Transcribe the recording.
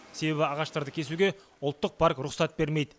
себебі ағаштарды кесуге ұлттық парк рұқсат бермейді